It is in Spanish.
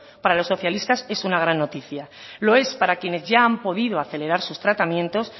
para los socialistas es una gran noticia lo es para quienes ya han podido acelerar sus tratamientos